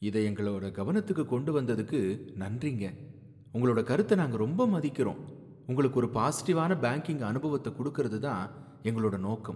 இதை எங்களோட கவனத்துக்கு கொண்டு வந்ததுக்கு நன்றிங்க. உங்களோட கருத்த நாங்க ரொம்ப மதிக்கிறோம். உங்களுக்கு ஒரு பாசிடிவான பேங்கிங் அனுபவத்தை குடுக்குறதுதான் எங்களோட நோக்கம்.